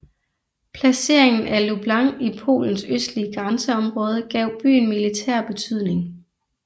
Placeringen af Lublin i Polens østlige grænseområde gav byen militær betydning